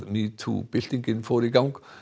metoo byltinguna